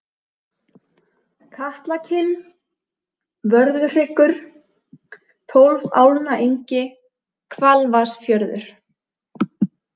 Katlakinn, Vörðuhryggur, Tólfálnaengi, Hvalvatnsfjörður